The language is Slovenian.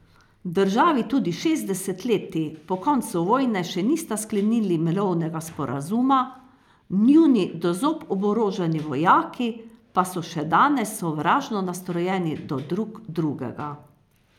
Državi tudi šest desetletij po koncu vojne še nista sklenili mirovnega sporazuma, njuni do zob oboroženi vojaki pa so še danes sovražno nastrojeni do drug drugega.